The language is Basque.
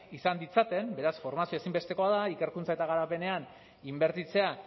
izan ditzaten beraz formazioa ezinbestekoa da ikerkuntza eta garapenean inbertitzea